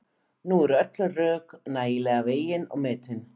Nú eru öll rök nægilega vegin og metin.